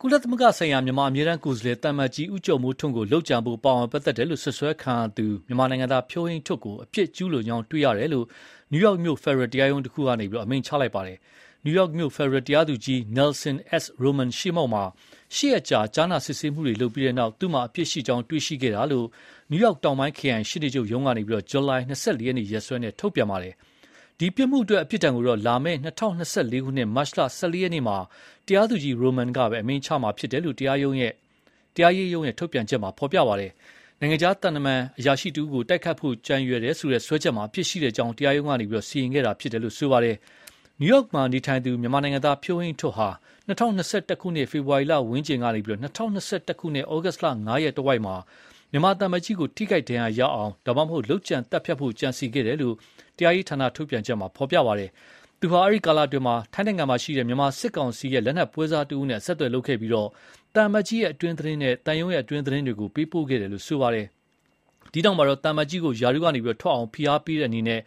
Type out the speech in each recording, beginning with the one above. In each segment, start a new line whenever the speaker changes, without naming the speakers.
ကုလသမဂ္ဂဆိုင်ရာ မြန်မာအမြဲတမ်းကိုယ်စားလှယ် သံအမတ်ကြီး ဦးကျော်မိုးထွန်းကို လုပ်ကြံဖို့ပါဝင်ပတ် သက်တယ်လို့ စွပ်စွဲခံရသူ မြန်မာနိုင်ငံသား ဖြိုးဟိန်းထွဋ်ကို အပြစ်ကျူးလွန်ကြောင်း တွေ့ရှိတယ်လို့ နယူးယောက်မြို့ ဖယ်ဒရယ်တရားရုံးတခုကနေ အမိန့်ချလိုက်ပါပြီ။ နယူးယောက်မြို့ ဖယ်ဒရယ်တရားသူ ကြီး Nelson S.Roman ရှေ့မှောက်မှာ ရှစ်ရက်ကြာ ကြားနာစစ်ဆေးမှုတွေလုပ်ခဲ့ပြီးနောက် သူ့မှာအပြစ်ရှိ ကြောင်းတွေ့ရှိခဲ့တာလို့ နယူးယောက်တောင်ပိုင်းခရိုင် ရှေ့နေချုပ်ရုံးက ဇူလိုင် ၂၄ရက်နေ့ ရက်စွဲနဲ့ ထုတ်ပြန်ပါတယ်။ ဒီ ပြစ်မှုအတွက်အပြစ်ဒဏ်ကိုတော့ လာမယ့် ၂၀၂၄ ခုနှစ်၊ မတ်လ ၁၄ ရက်နေ့မှာ တရားသူကြီး Roman ကပဲ အမိန့်ချမှာဖြစ်တယ်လို့ တရားရေးရုံးထုတ်ပြန်ချက်က ဖော်ပြပါတယ်။ နိုင်ငံခြားသံအရာရှိတဦးကို တိုက်ခိုက်ဖို့ ကြံရွယ်တယ်ဆိုတဲ့ စွဲချက်မှာ အပြစ်ရှိကြောင်း တရားရုံးက စီရင်ခဲ့တာဖြစ်တယ်လို့ဆိုပါတယ်။ နယူးယောက်မှာနေထိုင်သူ မြန်မာနိုင်ငံသား ဖြိုးဟိန်းထွဋ်ဟာ ၂၀၂၁ ခုနှစ် ဖေဖော်ဝါရီလဝန်းကျင်ကနေ ၂၀၂၁ ခုနှစ် ဩဂုတ်လ ၅ ရက်တဝိုက်မှာ မြန်မာသံအမတ်ကြီးကို ထိခိုက်ဒဏ်ရာရအောင် ဒါမှမဟုတ် လုပ်ကြံသတ်ဖြတ်ဖို့ ကြံစည်ခဲ့တယ်လို့ တရားရေးဌာနထုတ်ပြန်ချက်က ဖော်ပြပါတယ်။ သူဟာ အဲဒီကာလအတွင်း ထိုင်းနိုင်ငံမှာရှိတဲ့ မြန်မာစစ်ကောင်စီရဲ့လက်နက်ပွဲစားတဦးနဲ့ အဆက်အသွယ်လုပ်ခဲ့ပြီး သံအမတ်ကြီးရဲ့အတွင်းသတင်းနဲ့ သံရုံးရဲ့အတွင်းသတင်းတွေကို ပေးပို့ခဲ့တယ်လို့ဆိုပါတယ်။ အဲဒီနောက် သံအမတ်ကြီးကို ရာထူးကထွက်အောင်ဖိအားပေးတဲ့အနေနဲ့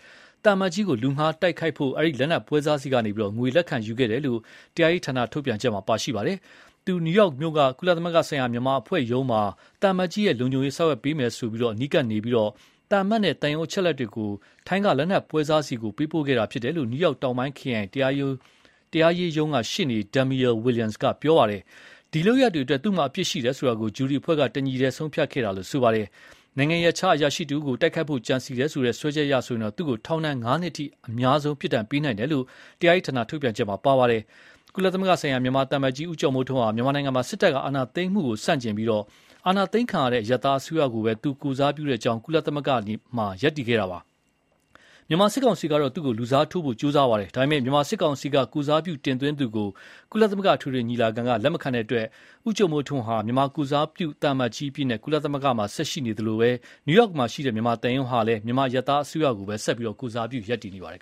သံအမတ်ကြီးကို လူငှားတိုက် ခိုက်ဖို့ အဲဒီလက်နက်ပွဲစားဆီကနေ ငွေလက်ခံရယူခဲ့တယ်လို့ တရားရေးဌာန ထုတ်ပြန်ချက်မှာပါရှိပါတယ်။ သူ နယူးယောက်မြို့က ကုလသမဂ္ဂဆိုင်ရာ မြန်မာအဖွဲ့ရုံးမှာ သံအမတ်ကြီးရဲ့ လုံခြုံရေးဆောင်ရွက်ပေး နိုင်အောင်ဆိုတဲ့အကြောင်းပြချက်နဲ့ အနီးကပ်နေပြီး သံအမတ်နဲ့ သံရုံးအချက်အလက်တွေကို ထိုင်းက လက်နက်ပွဲစားဆီပေးပို့ခဲ့တယ်လို့ နယူးယောက် တောင်ပိုင်းခရိုင် တရားရေးရုံးက ရှေ့နေ Damian Williams က ပြောပါတယ်။ ဒီလုပ်ရပ်တွေအတွက် သူ့မှာ အပြစ်ရှိတယ်ဆိုတာကို ဂျူရီအဖွဲ့က တညီတည်းဆုံးဖြတ်ခဲ့တာလို့ဆိုပါတယ်။ နိုင်ငံရပ်ခြားအရာရှိတဦးကို တိုက်ခိုက်ဖို့ ကြံစည်တယ်ဆိုတဲ့ စွဲချက်အရဆိုရင် သူ့ကို ထောင်ဒဏ် ငါးနှစ်အထိ အများဆုံး ပြစ်ဒဏ်ပေးနိုင်တယ်လို့ တရားရေးဌာန ထုတ်ပြန်ချက်မှာပါရှိပါတယ်။ ကုလသမဂ္ဂဆိုင်ရာ မြန်မာသံအမတ်ကြီး ဦီးကျော်မိုးထွန်းဟာ မြန်မာနိုင်ငံမှာ စစ်တပ်ကအာဏာသိမ်းမှုကို ဆန့်ကျင်ပြီး အာဏာသိမ်းခံရတဲ့ အရပ်သားအစိုးရကိုပဲ သူ ကိုယ်စားပြုကြောင်း ကုလသမဂ္ဂမှာ ရပ်တည်ခဲ့တာပါ။ မြန်မာစစ်ကောင်စီကတော့ သူ့ကို ရာထူးကထုတ်ပယ်တယ်လို့ ကြေညာပြီး လူစားထိုးဖို့ ဒါပေမယ့် မြန်မာစစ်ကောင်စီဖက်က ကိုယ်စားပြုမှုတင်သွင်းသူကို ကုလသမဂ္ဂ အထွေထွေညီလာခံ က လက်မခံတဲ့အတွက် ဦးကျော်မိုးထွန်းဟာ မြန်မာကိုယ်စားပြု သံအမတ်ကြီးအဖြစ် ကုလသမဂ္ဂမှာ ဆက်ရှိနေသလို နယူးယောက်မှာရှိတဲ့ မြန်မာသံရုံးဟာလည်း မြန်မာအရပ်သားအစိုးရကိုပဲ ဆက်လက် ကိုယ်စားပြု ရပ်တည်နေပါတယ်